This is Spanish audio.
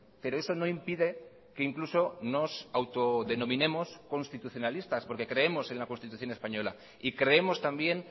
pero eso no impide que incluso nos autodenominemos constitucionalistas porque creemos en la constitución española y creemos también